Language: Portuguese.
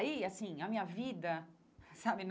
Aí, assim, a minha vida, sabe?